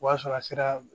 O b'a sɔrɔ a sera